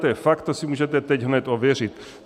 To je fakt, to si můžete teď hned ověřit.